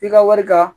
I ka wari ka